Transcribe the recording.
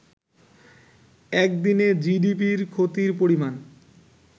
একদিনে জিডিপির ক্ষতির পরিমাণ